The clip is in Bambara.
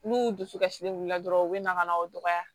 N'u dusukasilen wulila dɔrɔn u bɛ na ka na o dɔgɔya